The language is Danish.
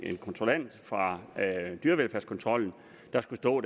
kontrollant fra dyrevelfærdskontrollen der skulle stå